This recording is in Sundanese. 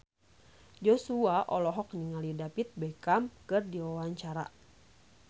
Joshua olohok ningali David Beckham keur diwawancara